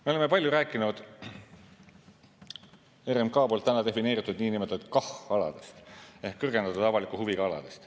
Me oleme palju rääkinud RMK poolt defineeritud niinimetatud KAH-aladest ehk kõrgendatud avaliku huviga aladest.